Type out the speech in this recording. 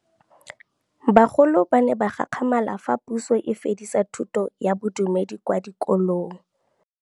Bagolo ba ne ba gakgamala fa Pusô e fedisa thutô ya Bodumedi kwa dikolong.